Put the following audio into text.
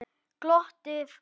Glottið og gleðin.